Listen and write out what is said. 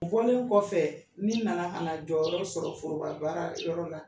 U bɔlen kɔfɛ min nana ka na jɔyɔrɔ sɔrɔ foroba baara yɔrɔ la